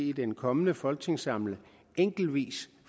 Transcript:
i den kommende folketingssamling enkeltvis